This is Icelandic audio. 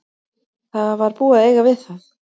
Það var búið að eiga við það.